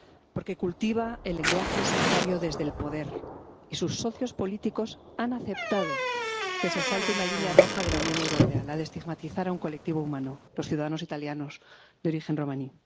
Porque cultiva el lenguaje sectario desde el poder y sus socios políticos han aceptado que se salte una línea roja de la Unión Europea, la de estigmatizar a un colectivo humano los ciudadanos italianos de origen romaní.